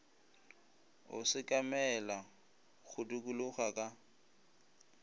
o sekamela go dikologela ka